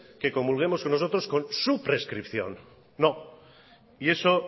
que comulguemos nosotros con su prescripción no y eso